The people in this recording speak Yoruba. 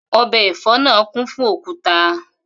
O̩bè̩ è̩fó̩ náà kún fún òkúta